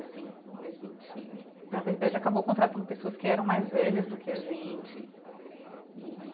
Assim a gente, na verdade, acabou contratando pessoas que eram mais velhas do que a gente e.